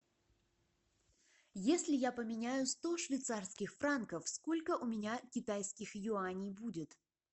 если я поменяю сто швейцарских франков сколько у меня китайских юаней будет